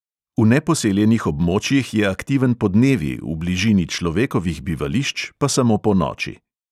V neposeljenih območjih je aktiven podnevi, v bližini človekovih bivališč pa samo ponoči.